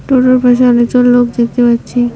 টোটোর পাশে অনেকজন লোক দেখতে পাচ্ছি।